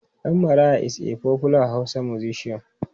Dan Maraya is a popular Hausa musician.